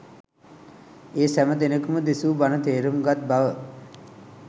ඒ සැම දෙනකුම දෙසු බණ තේරුම් ගත් බව